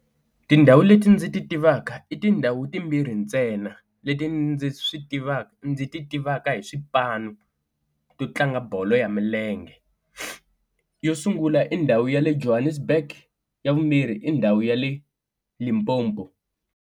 Tindhawu leti ndzi ti tivaka i tindhawu timbirhi ntsena leti ndzi swi tivaka ndzi ti tivaka hi swipano to tlanga bolo ya milenge, yo sungula i ndhawu ya le Johannesburg ya vumbirhi i ndhawu ya le Limpopo.